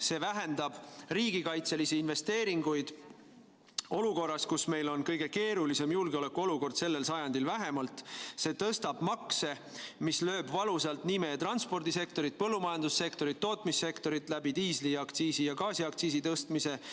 See vähendab riigikaitselisi investeeringuid olukorras, kus meil on kõige keerulisem julgeolekuolukord, sellel sajandil vähemalt, see tõstab makse, mis lööb valusalt meie transpordisektorit, põllumajandussektorit, tootmissektorit läbi diisliaktsiisi ja gaasiaktsiisi tõstmise.